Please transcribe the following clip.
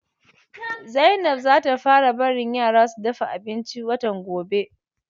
Zainab za ta fara barin yaran su dafa abinci watan gobe.